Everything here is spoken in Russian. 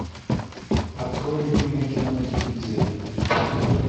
открой любимое кино на телевизоре